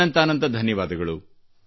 ಅನಂತಾನಂತ ಧನ್ಯವಾದಗಳು